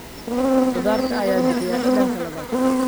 Khudaarta ayaa bixiya dhadhanka labaad.